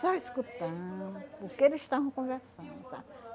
Só escutando porque eles estavam conversando, sabe?